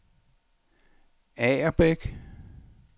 Agerbæk